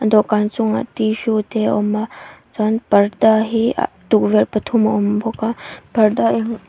dawhkan chungah tissue te awm a chuan parda hi ah tukverh pathum a awm bawk a parda --